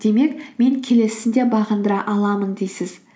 демек мен келесісін де бағындыра аламын дейсіз